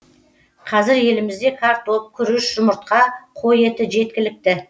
қазір елімізде картоп күріш жұмыртқа қой еті жеткілікті